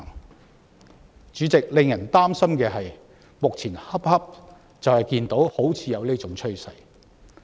代理主席，令人擔心的是，目前恰恰就出現這種趨勢。